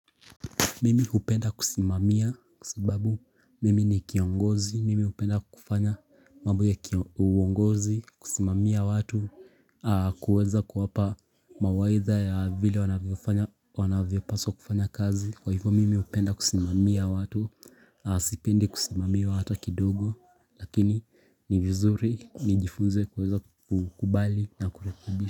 Mimi hupenda kusimamia kwasababu mimi ni kiongozi, mimi hupenda kufanya mambo ya uongozi, kusimamia watu, kuweza kuwapa mawaidha ya vile wanavyopaswa kufanya kazi Kwa hivyo mimi upenda kusimamia watu, sipendi kusimamiwa hata kidogo, lakini ni vizuri, nijifunze kuweza kukubali na kurekibisha.